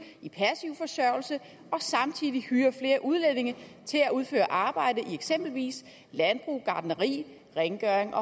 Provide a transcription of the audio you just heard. i passiv forsørgelse og samtidig hyre flere udlændinge til at udføre arbejde i eksempelvis landbrug gartneri rengøring